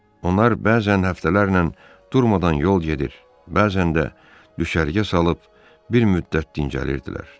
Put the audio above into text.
Onlar bəzən həftələrlə durmadan yol gedir, bəzən də düşərgə salıb bir müddət dincəlirdilər.